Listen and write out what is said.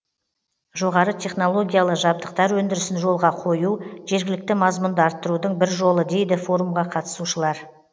жоғары технологиялы жабдықтар өндірісін жолға қою жергілікті мазмұнды арттырудың бір жолы дейді форумға қатысушылар